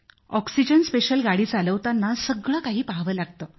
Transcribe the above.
oxygen special गाडी चालवताना सगळं काही पहावं लागतं